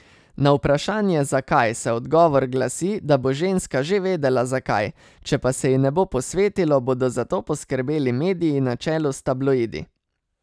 Na vprašanje, zakaj, se odgovor glasi, da bo ženska že vedela, zakaj, če pa se ji ne bo posvetilo, bodo za to poskrbeli mediji na čelu s tabloidi.